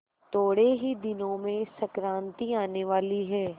थोड़े ही दिनों में संक्रांति आने वाली है